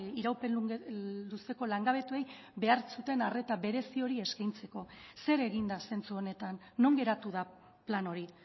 iraupen luzeko langabetuei behar zuten arreta berezi hori eskaintzeko zer egin da zentzu honetan non geratu da plan hori